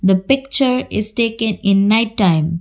the picture is taken in night time.